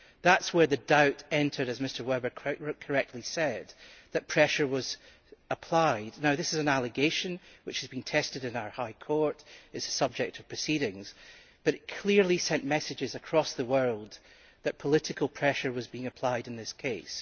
That is where the doubt entered and, as Mr Weber correctly said, that pressure was applied. This is an allegation which has been tested in our High Court and is the subject of proceedings, but it clearly sent messages across the world that political pressure was being applied in this case.